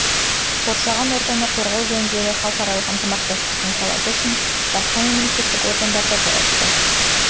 қоршаған ортаны қорғау жөніндегі халықаралық ынтымақтастық саласы үшін басқа мемлекеттік органдар да жауапты